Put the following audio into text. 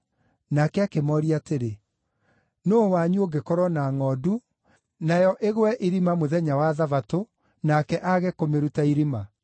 Nake akĩmooria atĩrĩ, “Nũũ wanyu ũngĩkorwo na ngʼondu, nayo ĩgwe irima mũthenya wa Thabatũ-rĩ, ũtangĩmĩruta irima?